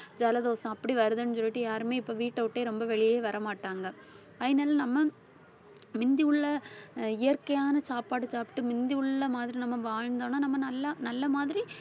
ஜலதோஷம் அப்படி வருதுன்னு சொல்லிட்டு யாருமே இப்ப வீட்டைவிட்டே ரொம்ப வெளியே வரமாட்டாங்க. அதினால நம்ம மிந்தியுள்ள அஹ் இயற்கையான சாப்பாடு சாப்பிட்டு மிந்தி உள்ள மாதிரி நம்ம வாழ்ந்தோம்னா நம்ம நல்லா நல்ல மாதிரி